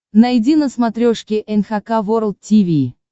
найди на смотрешке эн эйч кей волд ти ви